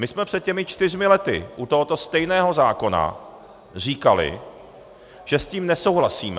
My jsme před těmi čtyřmi lety u tohoto stejného zákona říkali, že s tím nesouhlasíme.